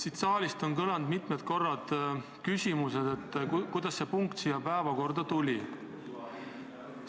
Siit saalist on mitu korda küsitud, kuidas see punkt tänasesse päevakorda tuli.